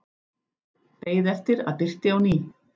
Beið eftir að birti á ný.